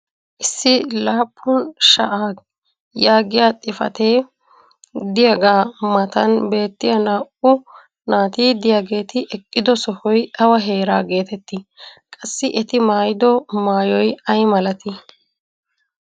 issi laappun sha"a yaagiya xifatee diyaagaa matan beettiya naa"u naati diyaageeti eqqido sohoy awa heera geetettii? qassi eti maayido maayoy ayi malatii?